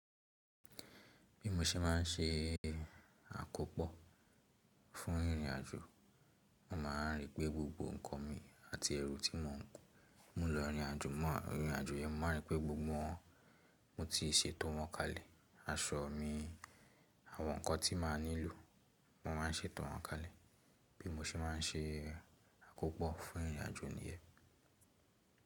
Bí mo ṣe má n ṣe àkópọ̀ fún ìrìnàjò, mo má a rí pé gbogbo ǹkan mi àti ẹrù tí mò n mu lọ ìrìnàjò yẹn, mo má a rí pé gbogbo wọn mo ti ṣeto wọn kalẹ̀. Aṣọ mi, àwọn ǹkan tí màá nílò, mo má a n ṣeto wọn kalẹ̀ bí mo ṣe má n ṣe àkópọ̀ fún ìrìnàjò nìyẹn.